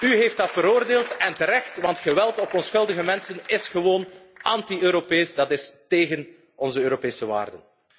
U heeft dat veroordeeld en terecht, want geweld tegen onschuldige mensen is gewoon anti Europees, dat is tegen onze Europese waarden.